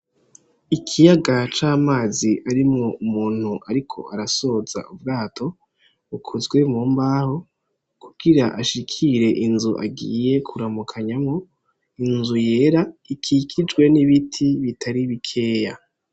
Ikiyaga c'amazi arimwo umuntu ariko arasoza ubwato, bukozwe mu mbaho, kugira ashikire inzu agiye kuramukanyamwo, inzu yera ikikijwe n'ibiti bitari bikeya.